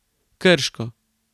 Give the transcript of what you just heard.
Krško.